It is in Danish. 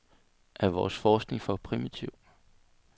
Er vores forskning for primitiv?